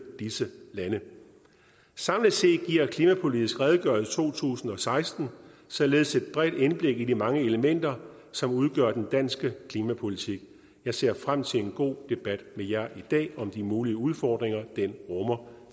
disse lande samlet set giver klimapolitisk redegørelse to tusind og seksten således et bredt indblik i de mange elementer som udgør den danske klimapolitik jeg ser frem til en god debat med jer i dag om de mulige udfordringer den rummer